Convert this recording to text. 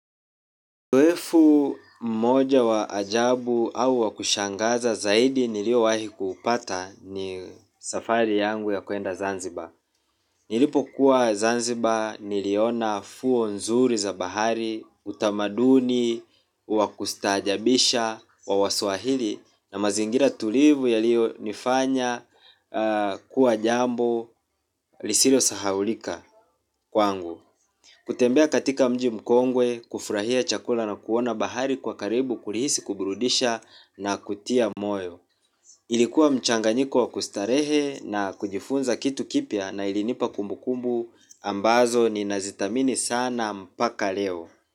Uzoefu mmoja wa ajabu au wa kushangaza zaidi niliowahi kuupata ni safari yangu ya kuenda Zanzibar. Nilipokuwa Zanzibar niliona fuo nzuri za bahari, utamaduni wa kustaajabisha wa waswahili na mazingira tulivu yaliyonifanya kuwa jambo lisilosahaulika kwangu. Kutembea katika mji mkongwe kufurahia chakula na kuona bahari kwa karibu kulihisi kuburudisha na kutia moyo. Ilikuwa mchanganyiko wa kustarehe na kujifunza kitu kipya na ilinipa kumbukumbu ambazo ninazithamini sana mpaka leo.